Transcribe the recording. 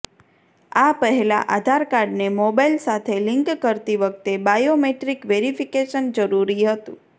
આ પહેલા આધારકાર્ડને મોબાઇલ સાથે લિંક કરતી વખતે બાયોમેટ્રિક વેરિફિકેશન જરૂરી હતું